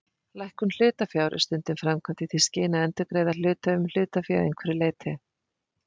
Lækkun hlutafjár er stundum framkvæmd í því skyni að endurgreiða hluthöfum hlutafé að einhverju leyti.